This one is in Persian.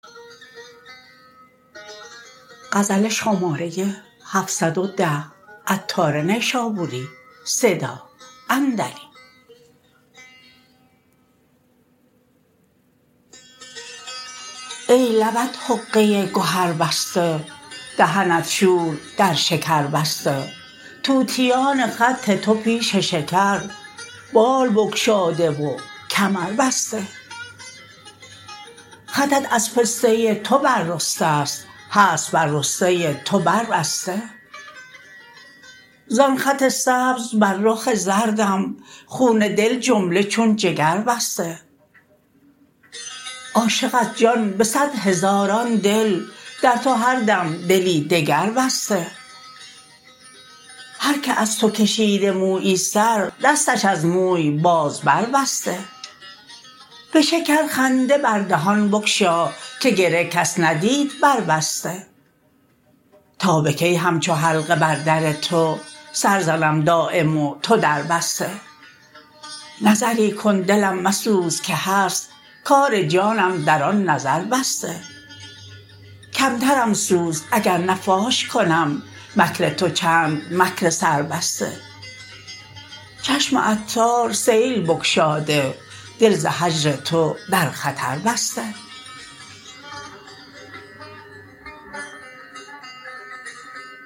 ای لبت حقه گهر بسته دهنت شور در شکر بسته طوطیان خط تو پیش شکر بال بگشاده و کمر بسته خطت از پسته تو بر رسته است هست بر رسته تو بر بسته زان خط سبز بر رخ زردم خون دل جمله چون جگر بسته عاشق از جان به صد هزاران دل در تو هر دم دلی دگر بسته هر که از تو کشیده مویی سر دستش از موی باز بر بسته به شکرخنده بر دهان بگشا که گره کس ندید بر بسته تا به کی همچو حلقه بر در تو سر زنم دایم و تو در بسته نظری کن دلم مسوز که هست کار جانم در آن نظر بسته کمترم سوز اگر نه فاش کنم مکر تو چند مکر سربسته چشم عطار سیل بگشاده دل ز هجر تو در خطر بسته